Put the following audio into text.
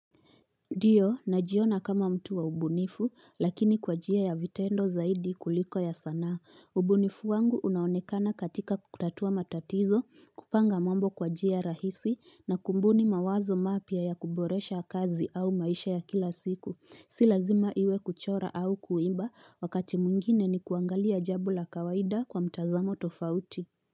Ndiyo, najiona kama mtu wa ubunifu, lakini kwa njia ya vitendo zaidi kuliko ya sanaa. Ubunifu wangu unaonekana katika kutatua matatizo, kupanga mambo kwa njia rahisi, na kumbuni mawazo mapya ya kuboresha kazi au maisha ya kila siku. Si lazima iwe kuchora au kuimba, wakati mwingine ni kuangalia jambo la kawaida kwa mtazamo tofauti.